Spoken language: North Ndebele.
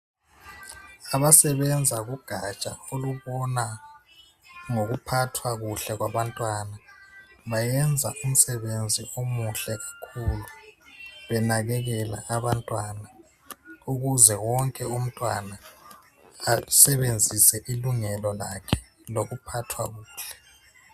Abasebenza kugaja olubona ngokuphathwa kuhle kwabantwana bayenza umsebenzi omuhle kakhulu, benakekela abantwana ukuze wonke umntwana asebenzise ilungelo lakhe lokuphathwa kuhle.